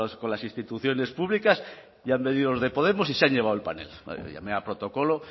a las instituciones públicas ya han venido los de podemos y se han llevado el panel llamé a protocolo